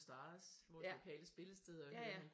Stars hvor de lokale spillesteder